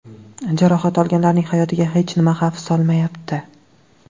Jarohat olganlarning hayotiga hech nima xavf solmayapti.